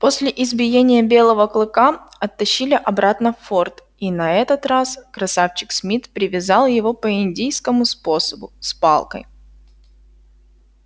после избиения белого клыка оттащили обратно в форт и на этот раз красавчик смит привязал его по индийскому способу с палкой